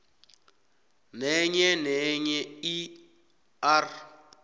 nenyenenye i r